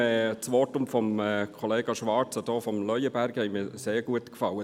Sehr gut gefallen haben mir vor allem die Voten der Kollegen Schwarz und Leuenberger.